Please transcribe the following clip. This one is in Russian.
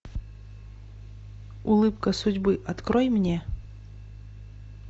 улыбка судьбы открой мне